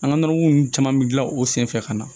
An ka nɔnɔmugu ninnu caman bɛ dilan o senfɛ ka na